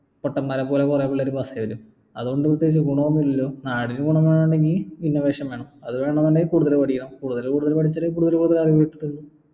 പൊട്ടന്മാരെ പോലെ കുറെ പിള്ളേര് അതുകൊണ്ട് പ്രത്യേകിച്ച് ഗുണം ഒന്നുമില്ലല്ലോ വേണെങ്കി innovation വേണം അത് വേണം എന്നുണ്ടെങ്കിൽ കൂടുതൽ പഠിക്കണം കൂടുതൽ കൂടുതൽ പഠിച്ചാൽ കൂടുതൽ കൂടുതൽ അറിവ് കിട്ടത്തുള്ളൂ